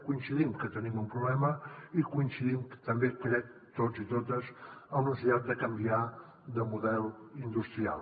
coincidim que tenim un problema i coincidim també crec tots i totes amb la necessitat de canviar de model industrial